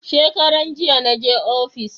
Shekaran jiya na je ofis